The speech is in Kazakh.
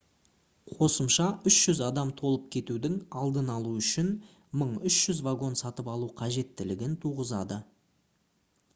қосымша 300 адам толып кетудің алдын алу үшін 1300 вагон сатып алу қажеттілігін туғызады